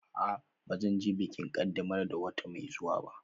A'a, ba zan je bikin ƙaddamar da wata mai zuwa ba